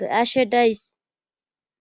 be'ashe days.